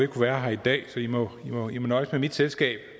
kunne være her i dag så i må nøjes med mit selskab